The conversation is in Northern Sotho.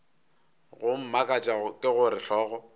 go mmakatša ke gore hlogo